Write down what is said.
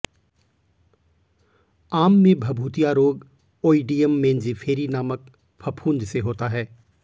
आम में भभूतिया रोग ओईडियम मेन्जीफेरी नामक फफूंद से होता है